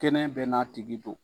Kɛnɛ bɛɛ n'a tigi don.